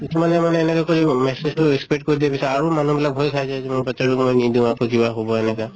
কিছুমানে মানে এনকা কৰি message টো spread কৰি দিয়ে পিছত আৰু মানুহ বিলাক ভয় খাই যায় বাচ্ছা টোক মই নিদিওঁ, আকৌ কিবা হʼব এনেকা